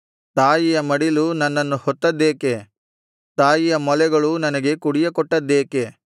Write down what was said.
ತಾಯಿಯ ಮಡಿಲು ನನ್ನನ್ನು ಹೊತ್ತದ್ದೇಕೆ ತಾಯಿಯ ಮೊಲೆಗಳು ನನಗೆ ಕುಡಿಯ ಕೊಟ್ಟದ್ದೇಕೆ